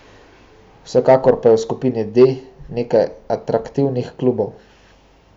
Vsekakor pa je v skupini D nekaj atraktivnih klubov.